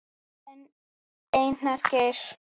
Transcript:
Þinn, Einar Geir.